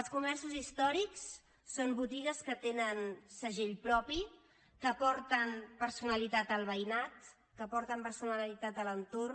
els comerços històrics són botigues que tenen segell propi que aporten personalitat al veïnat que aporten personalitat a l’entorn